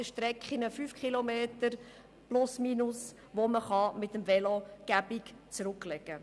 Das zeigen Holland und auch andere positive Beispiele sehr deutlich.